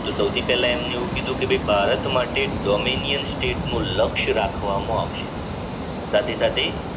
તો સૌથી પહેલા એમને એવું કીધું કે ભઈ ભારત માટે ડોમેનિયન સ્ટેટ નું લક્ષ રાખવામાં આવશે સાથે સાથે